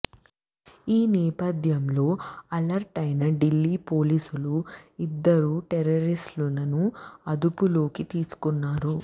ఈ నేపథ్యంలో అలర్టైన ఢిల్లీ పోలీసులు ఇద్దరు టెర్రరిస్టులని అదుపులోనికి తీసుకొన్నారు